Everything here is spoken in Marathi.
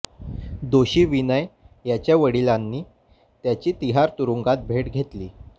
दोषी विनय याच्या वडिलांनी त्याची तिहार तुरुंगात भेट घेतली